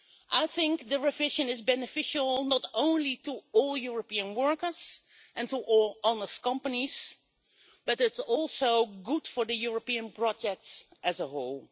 I think the revision is beneficial not only to all European workers and to all honest companies, but it is also good for the European project as a whole.